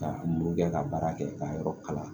Ka muru kɛ ka baara kɛ ka yɔrɔ kala